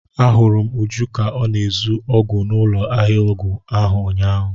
A hụrụ m Uju ka ọ na-ezu ọgwụ n'ụlọ ahịa ọgwụ ahụ ụnyahụ.